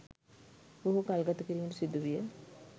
බොහෝ කල්ගත කිරීමට සිදු විය.